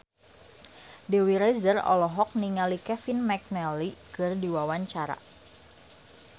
Dewi Rezer olohok ningali Kevin McNally keur diwawancara